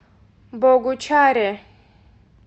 богучаре